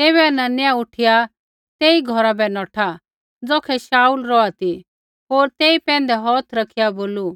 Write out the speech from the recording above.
तैबै हनन्याह उठिया तेई घौरा बै नौठा ज़ौखै शाऊल रौहा ती होर तेई पैंधै हौथ रैखिआ बोलू